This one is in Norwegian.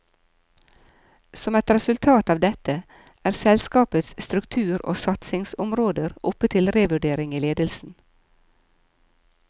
Som et resultat av dette, er selskapets struktur og satsingsområder oppe til revurdering i ledelsen.